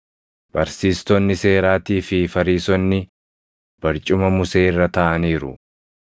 “Barsiistonni seeraatii fi Fariisonni barcuma Musee irra taaʼaniiru.